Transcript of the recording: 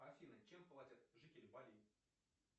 афина чем платят жители бали